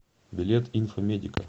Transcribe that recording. билет инфо медика